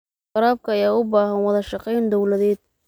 Waraabka ayaa u baahan wada shaqayn dawladeed.